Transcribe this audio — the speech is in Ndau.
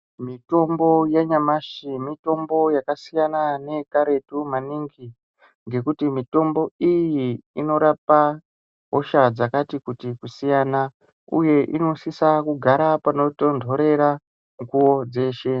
Mitombo yanyamashi mitombo yakasiyana neye karetu maningi ngekuti mitombo iyi inorapa hosha dzakati kuti kusiyana uye inosise kugara panotonhorera mukuwo dzeshe.